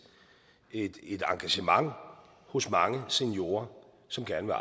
et engagement hos mange seniorer som gerne